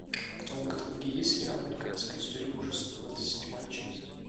в твоем каталоге есть сериал американская история ужасов двадцать седьмая часть